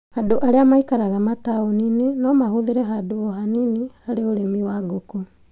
Andũ arĩa maikaraga mataũni-inĩ no mahũthĩre handũ o hanini harĩ ũrĩmi wa ngũkũ